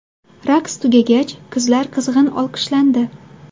Raqs tugagach, qizlar qizg‘in olqishlandi.